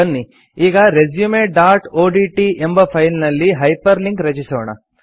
ಬನ್ನಿ ಈಗ resumeಒಡಿಟಿ ಎಂಬ ಫೈಲ್ ನಲ್ಲಿ ಹೈಪರ್ ಲಿಂಕ್ ರಚಿಸೋಣ